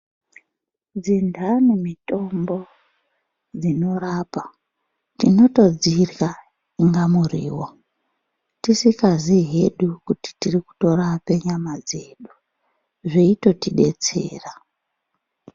Dzintani mitombo dzinorapa tinotodzirya kunga muriwo tisingaziyi hedu kuti tirikutorapa nyama dzedu , zveitotidetsera.